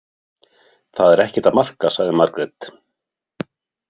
Það er ekkert að marka, sagði Margrét.